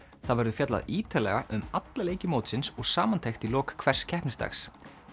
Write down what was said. það verður fjallað ítarlega um alla leiki mótsins og samantekt í lok hvers keppnisdags